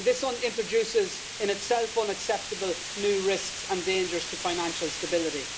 This introduces in itself unacceptable new risks and dangers to financial stability.